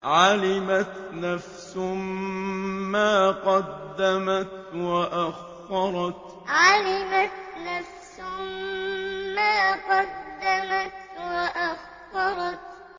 عَلِمَتْ نَفْسٌ مَّا قَدَّمَتْ وَأَخَّرَتْ عَلِمَتْ نَفْسٌ مَّا قَدَّمَتْ وَأَخَّرَتْ